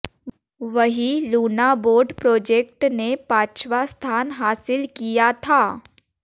वहीं Luna boat project ने पांचवा स्थान हासिल किया था